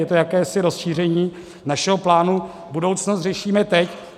Je to jakési rozšíření našeho plánu Budoucnost řešíme teď.